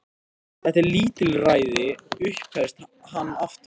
Þetta er lítilræði upphefst hann aftur.